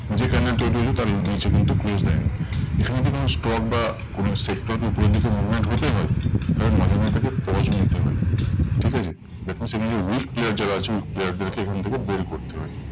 যে candle তৈরী হয়েছে তার নিচে কিন্তু close দেয়নি। এখানে যদি কোনো stock বা কোনো sector কে উপরের দিকে movement হতে হয় তাহলে মাঝে মধ্যে তাকে pause নিতে হয়, ঠিক আছে? that means এখানে weak player যারা আছেন weak player দেরকে এখান থেকে বের করতে হয়।